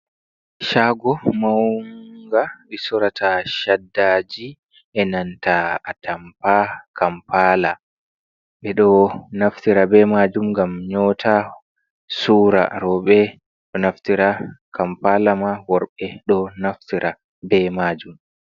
Shaago maunga ɓe soorata shaddaji, e nanta a tampa kampaala, ɓe ɗo naftira be maajum ngam nyoota, suura rooɓe ɗo naftira kampaala ma worɓe ɗo naftira be maajum.